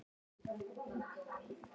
Það gerðist fyrir hálfum mánuði